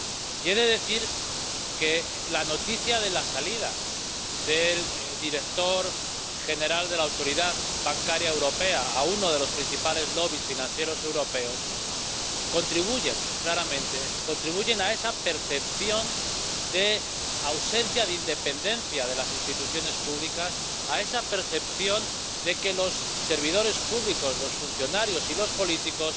Y he de decir que la noticia de la salida del director ejecutivo de la Autoridad Bancaria Europea a uno de los principales lobbies financieros europeos contribuye a esa percepción de ausencia de independencia de las instituciones públicas, a esa percepción de que los servidores públicos, los funcionarios y los políticos,